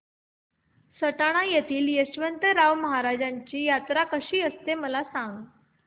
सटाणा येथील यशवंतराव महाराजांची यात्रा कशी असते मला सांग